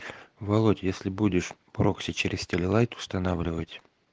володь если будешь прокси через теле-лайт устанавливать